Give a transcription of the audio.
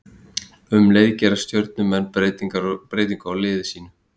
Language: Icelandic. Um leið gera Stjörnumenn breytingu á liði sínu.